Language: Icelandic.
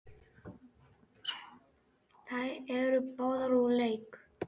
Þær eru báðar úr leik.